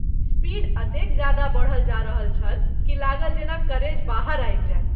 Speed अतेक जादा बढल जा रहल छल कि लागल जेना करेज बाहर आबि जाएत।